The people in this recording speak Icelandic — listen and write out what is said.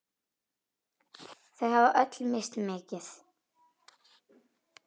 Þau hafa öll misst mikið.